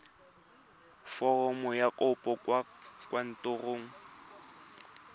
foromo ya kopo kwa kantorong